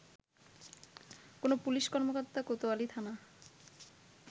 কোনো পুলিশ কর্মকর্তা কোতোয়ালি থানা